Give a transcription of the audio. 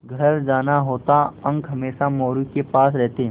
घर जाना होता अंक हमेशा मोरू के पास रहते